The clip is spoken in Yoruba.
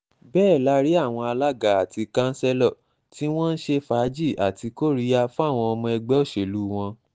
bẹ́ẹ̀ la rí àwọn alága àti kanṣẹ́lò tí wọ́n ń ṣe fàájì àti kóríyá fáwọn ọmọ ẹgbẹ́ òṣèlú wọn